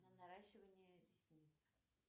на наращивание ресниц